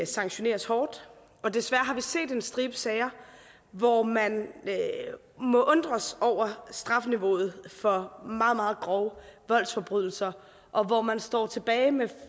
sanktioneres hårdt og desværre har vi set en stribe sager hvor man må undres over strafniveauet for meget meget grove voldsforbrydelser og hvor man står tilbage med